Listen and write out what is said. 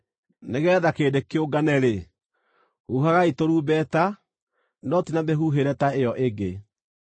Nĩgeetha kĩrĩndĩ kĩũngane-rĩ, huhagai tũrumbeta, no ti na mĩhuhĩre ta ĩyo ĩngĩ.